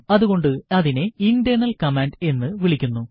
അതുകൊണ്ട് അതിനെ internal command എന്ന് വിളിക്കുന്നു